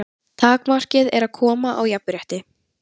Takmarkið er að koma á jafnrétti.